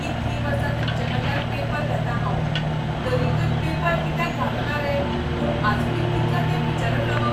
इतलीं वर्सां तुमचेकडल्यान पेपर घेतां हांव. तरीकय पेपर कित्याक घालोना रे म्हूण आजूनय कितलो तेंप विचारत रावप?